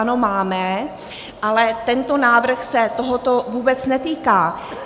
Ano, máme, ale tento návrh se tohoto vůbec netýká.